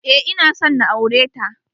Eh, ina son na aure ta.